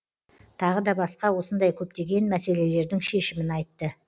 тағы да басқа осындай көптеген мәселелердің шешімін айтты